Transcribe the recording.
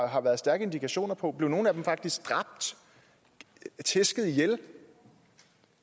har været stærke indikationer på blev nogle af dem faktisk dræbt tæsket ihjel